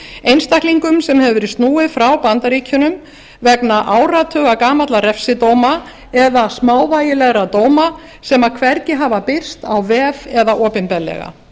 einstaklingum sem hefur verið snúið frá bandaríkjunum vegna áratuga gamalla refsidóma eða smávægilegra dóma sem hvergi hafa birst á vef eða opinberlega